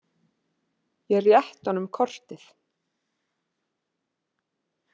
Ég rétti honum kortið.